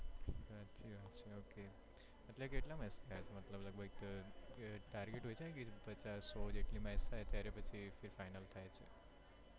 એવું છે okay એટલે કેટલા match થયા છે? મતલબ લગભગ અમ target હોય છે ને કે પચાસ સો જેટલી match થાય ત્યારે પછી કે final થાય છે.